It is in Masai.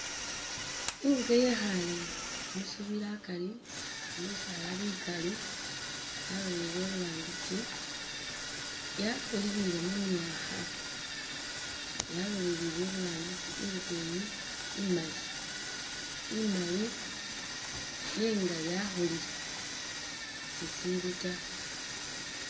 Inguke yekhale mushibila akari, mu bisaala bikali yalolelele iburangisi yakhulilile mu myakha, yalolelele iburangisi, inguke iyi imali -imali nenga yakhulile si ishili ta